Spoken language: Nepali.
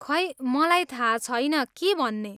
खै, मलाई थाहा छैन के भन्ने।